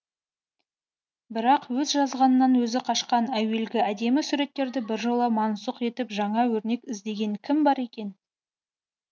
бірақ өз жазғанынан өзі қашқан әуелгі әдемі суреттерді біржола мансұқ етіп жаңа өрнек іздеген кім бар екен